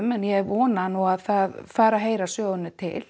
en ég vona að það fari að heyra sögunni til